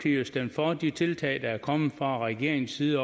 jo stemt for de tiltag der er kommet fra regeringens side